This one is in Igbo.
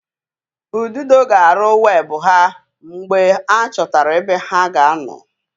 Ududo ga-arụ webụ ha mgbe a chọtara ebe ha ga-anọ